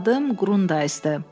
Mənim də adım Qrundaysdır.